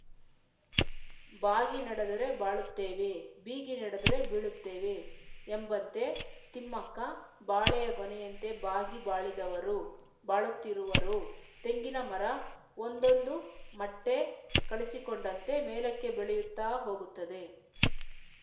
ಬಾಗಿ ನಡೆದರೆ ಬಾಳುತ್ತೇವೆ ಬೀಗಿ ನಡೆದರೆ ಬೀಳುತ್ತೇವೆ ಎಂಬಂತೆ ತಿಮ್ಮಕ್ಕ ಬಾಳೆಯ ಗೊನೆಯಂತೆ ಬಾಗಿ ಬಾಳಿದವರು ಬಾಳುತ್ತಿರುವರು ತೆಂಗಿನ ಮರ ಒಂದೊಂದು ಮಟ್ಟೆ ಕಳಚಿಕೊಂಡಂತೆ ಮೇಲಕ್ಕೆ ಬೆಳೆಯುತ್ತಾ ಹೋಗುತ್ತದೆ